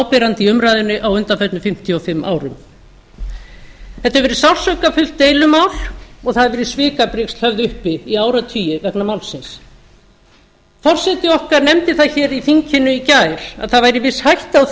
áberandi í umræðunni á undanförnum fimmtíu og fimm árum þetta hefur verða sársaukafullt deilumál og það hafa verið svikabrigsl höfð uppi í áratugi vegna málsins forseti okkar nefndi það í þinginu í gær að það væri víst hætta á